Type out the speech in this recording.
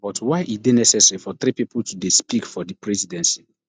but why e dey necessary for three pipo to dey speak for for di presidency